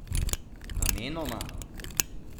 Namenoma?